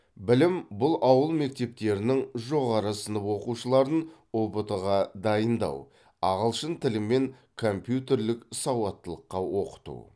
білім бұл ауыл мектептерінің жоғары сынып оқушыларын ұбт ға дайындау ағылшын тілі мен компьютерлік сауаттылыққа оқыту